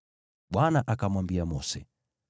Bwana akamwambia Mose,